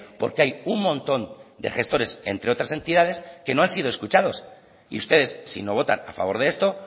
porque hay un montón de gestores entre otras entidades que no han sido escuchados y ustedes si no votan a favor de esto